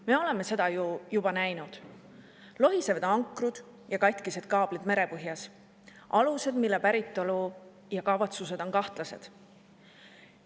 Me oleme ju seda juba näinud: lohisevad ankrud ja katkised kaablid merepõhjas, alused, mille päritolu ja kavatsused on kahtlased.